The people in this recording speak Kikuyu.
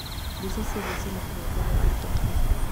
Mbica ciothe cĩĩna kĩhooto gĩa gũkobia